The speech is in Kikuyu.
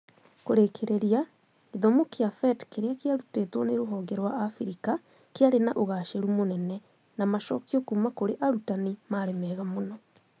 Kũrĩkĩrĩria, gĩthomo kĩa PhET kĩrĩa kĩarutĩtwo nĩ rũhonge rwa Africa kĩarĩ na ũgaacĩru mũnene, na macokio kuuma kũrĩ arutani maarĩ mega mũno.